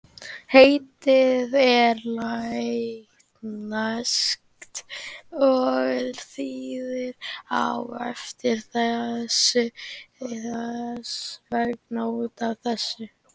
Heitið er latneskt og þýðir á eftir þessu, þess vegna út af þessu.